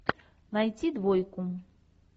найти двойку